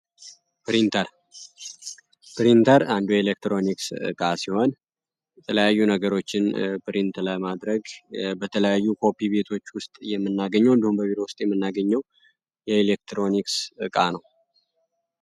ፕሪንተር ፕሪተር አንዱ ኤሌክትሮኒክስ የተለያዩ ነገሮችን ፕሪንት ለማድረግ በተለያዩ ኮፒ ቤቶች ውስጥ የምናገኘው የኤሌክትሮኒክስ ዕቃ ነው።